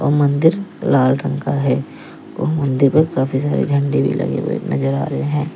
वे मन्दिर लाल रंग का है और मन्दिर पर काफी सारे झंडे लगे हुए नजर आ रहे हैं।